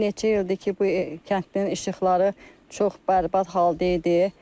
Neçə ildir ki, bu kəndin işıqları çox bərbad halda idi.